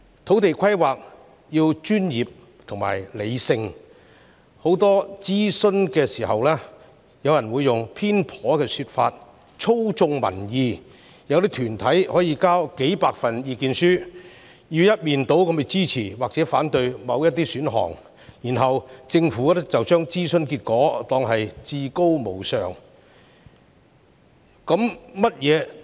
土地規劃必須專業和理性，但諮詢期間經常有人以偏頗的說法操縱民意，有些團體則提交數百份意見書，一面倒支持或反對某些選項，政府隨後卻把這些諮詢結果當作至高無上。